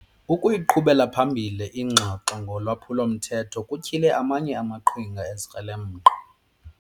Ukuyiqhubela phambili ingxoxo ngolwaphulo-mthetho kutyhile amanye amaqhinga ezikrelemnqa.